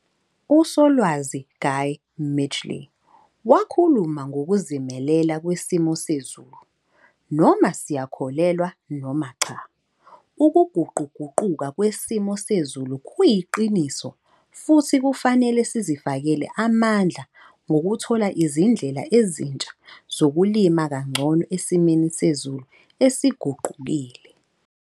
USolwazi Guy Midgely wakhuluma 'ngokuzimelela kwesimo sezulu'. Noma siyakholelwa noma cha ukuguquguquka kwesimo sezulu kuyiqiniso futhi kufanele sizifakele amandla ngokuthola izindlela ezintsha zokulima kangcono esimeni sezulu esiguqukile.